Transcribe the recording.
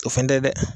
O fɛn tɛ dɛ